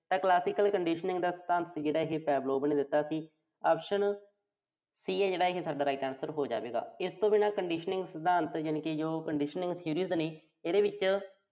ਤਾਂ Classical Conditioning ਦਾ ਜਿਹੜਾ ਸਿਧਾਂਤ ਸੀ ਇਹੇ Pavlov ਨੇ ਦਿੱਤਾ ਸੀ। optionC ਆ ਜਿਹੜਾ ਇਹੇ ਸਾਡਾ right answer ਹੋ ਜਾਵੇਗਾ। ਇਸ ਤੋਂ ਬਿਨਾਂ conditioning ਸਿਧਾਂਤ ਤੋਂ ਬਿਨਾਂ ਜਿਵੇਂ conditioning series ਨੇ, ਉਹਦੇ ਵਿੱਚਦ